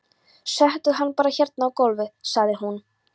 Settu hann bara hérna á gólfið, sagði hún svo.